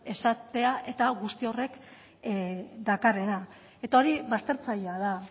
izatea eta guzti horrek dakarrena eta hori baztertzailea da